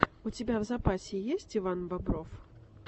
у тебя в запасе есть иван бобров